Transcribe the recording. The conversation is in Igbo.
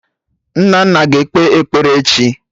Nnanna aga ekpe ekpere echi?